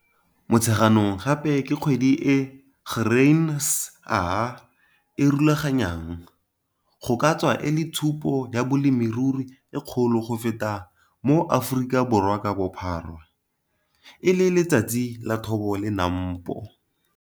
Motsheganong gape ke kgwedi e Grain SA e rulaganyang, go ka tswa e le tshupo ya bolemirui e kgolo go feta mo Aforikaborwa ka bophara, e le Letsatsi la Thobo la NAMPO.